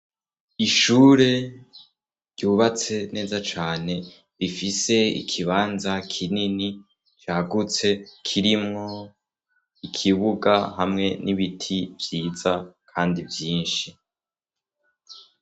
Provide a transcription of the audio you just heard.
Ishure ryubatse neza cane, rifise ikibanza kinini cagutse, kirimwo ikibuga hamwe n'ibiti vyiza kandi vyinshi.